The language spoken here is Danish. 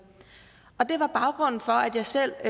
og det var baggrunden for at jeg selv